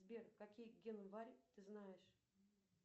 сбер какие ты знаешь